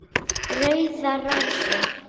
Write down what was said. Rauðar rósir